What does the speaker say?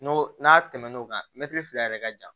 N'o n'a tɛmɛn'o kan mɛtiri fila yɛrɛ ka jan